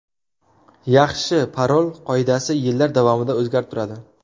Yaxshi parol qoidasi yillar davomida o‘zgarib turadi.